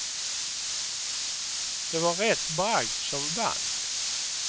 Det var rätt bragd som vann.